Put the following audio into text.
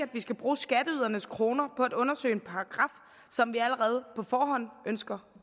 vi skal bruge skatteydernes kroner på at undersøge en paragraf som vi allerede på forhånd ønsker